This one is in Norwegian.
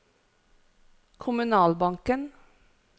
kommunalbanken